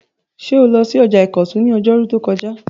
Ṣé o lọ sí ọjà ìkọ̀tún ní ọjọ́rú tó kọjá?